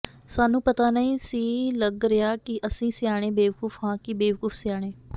ਸਾਨੂੰ ਪਤਾ ਨਹੀਂ ਸੀ ਲੱਗ ਰਿਹਾ ਕਿ ਅਸੀਂ ਸਿਆਣੇ ਬੇਵਕੂਫ਼ ਹਾਂ ਕਿ ਬੇਵਕੂਫ਼ ਸਿਆਣੇ